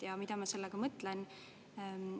Ja mida ma sellega mõtlen?